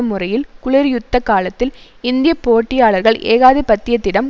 முறையில் குளர்யுத்த காலத்தில் இந்திய போட்டியாளர்கள் ஏகாதிபத்தியத்திடம்